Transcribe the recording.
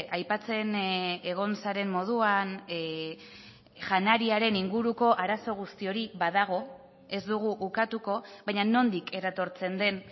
aipatzen egon zaren moduan janariaren inguruko arazo guzti hori badago ez dugu ukatuko baina nondik eratortzen den